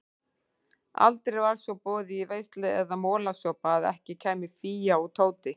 Aldrei var svo boðið í veislu eða molasopa að ekki kæmu Fía og Tóti.